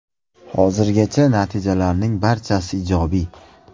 Hozirgacha natijalarning barchasi ijobiy.